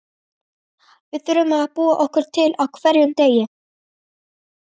Við þurfum að búa okkur til Á HVERJUM DEGI!